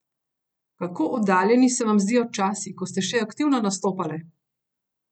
Kako oddaljeni se vam zdijo časi, ko ste še aktivno nastopale?